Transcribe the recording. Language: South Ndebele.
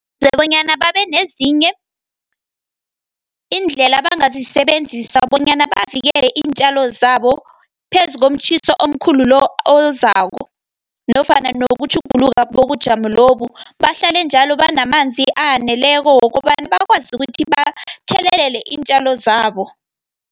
Bonyana babe nezinye, iindlela abangazisebenzisa bonyana bavikele iintjalo zabo, phezu ngomtjhiso omkhulu lo, ozako, nofana nokutjhuguluka bobujamo lobu. Bahlale njalo banamanzi aneleko wokobana bakwazi ukuthi bathelelele iintjalo zabo.